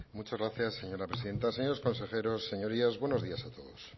muchas gracias señora presidenta señores consejeros señorías buenos días a todos